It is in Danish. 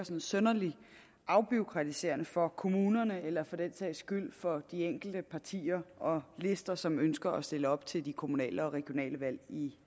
synderlig afbureaukratiserende for kommunerne eller for den sags skyld for de enkelte partier og lister som ønsker at stille op til de kommunale og regionale valg i